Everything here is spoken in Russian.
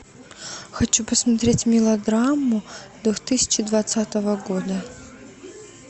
хочу посмотреть мелодраму две тысячи двадцатого года